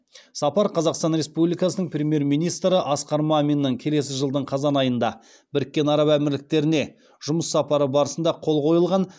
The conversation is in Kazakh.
сапар қазақстан республикасының премьер министрі асқар маминнің келесі жылдың қазан айында біріккен араб әмірліктеріне жұмыс сапары барысында қол қойылған